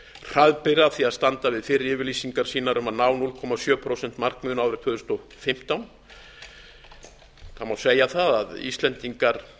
hraðbyri að því að standa við fyrri yfirlýsingar sínar um að ná núll komma sjö prósent markmiðinu árið tvö þúsund og fimmtán það má segja að íslendingar